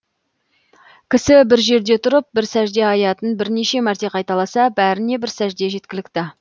кісі бір жерде тұрып бір сәжде аятын бірнеше мәрте қайталаса бәріне бір сәжде жеткілікті